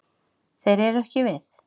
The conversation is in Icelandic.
Þeir eru ekki við.